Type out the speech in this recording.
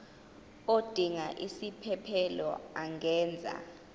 odinga isiphesphelo angenza